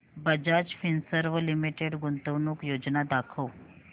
Bajaj Finserv limited गुंतवणूक योजना दाखव